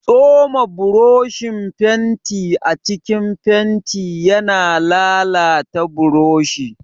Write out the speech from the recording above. Tsoma boroshin fenti a cikin fenti yana lalata boroshi.